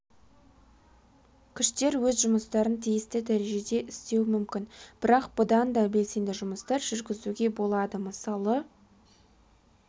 күштер өз жұмыстарын тиісті дәрежеде істеуі мүмкін бірақ бұдан да белсенді жұмыстар жүргізуге болады мысалы